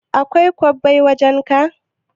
Akwai kwabbai wajan ka?